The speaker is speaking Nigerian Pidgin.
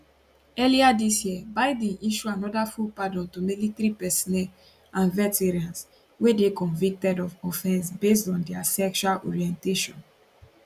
earlier dis year biden issue anoda full pardon to military personnel and veterans wey dey convicted of offence based on dia sexual orientation